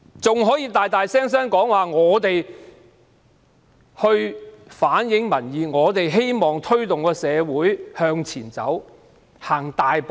政府還高聲說他們反映民意，希望推動社會向前大踏步。